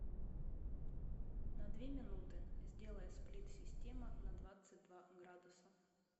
на две минуты сделай сплит система на двадцать два градуса